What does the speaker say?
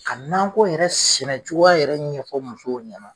Ka nakɔ yɛrɛ sɛnɛcogoya yɛrɛ ɲɛfɔ musow ɲɛna